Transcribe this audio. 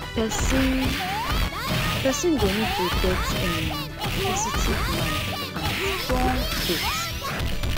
person person go need to get um positive mind and strong faith